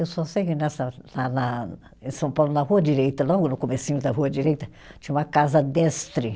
Eu só sei que nessa, na na em São Paulo, na Rua Direita, logo no comecinho da Rua Direita, tinha uma casa destre.